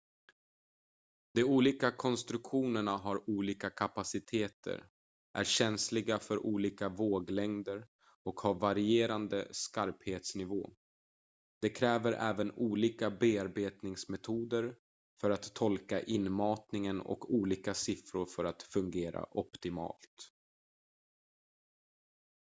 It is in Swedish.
de olika konstruktionerna har olika kapaciteter är känsliga för olika våglängder och har varierande skarphetsnivå de kräver även olika bearbetningsmetoder för att tolka inmatningen och olika siffror för att fungera optimalt